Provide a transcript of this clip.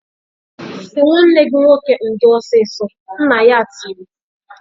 "Sị nwanne gị nwoke ndo ọsịsọ!" Nna ya tiri.